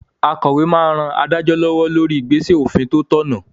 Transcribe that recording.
Akòwé máa n ran adájọ́ lọ́wọ́ lórí igbesẹ òfin tó tọ̀nà